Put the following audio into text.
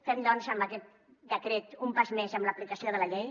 fem doncs amb aquest decret un pas més en l’aplicació de la llei